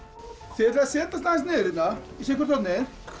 þið ætlið að setjast aðeins niður hérna í sitthvort hornið